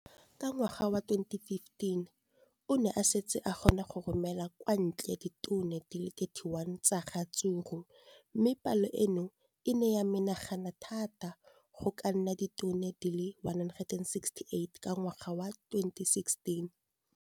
Ka ngwaga wa 2015, o ne a setse a kgona go romela kwa ntle ditone di le 31 tsa ratsuru mme palo eno e ne ya menagana thata go ka nna ditone di le 168 ka ngwaga wa 2016.